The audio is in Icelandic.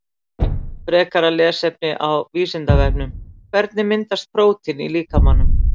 Frekara lesefni á Vísindavefnum Hvernig myndast prótín í líkamanum?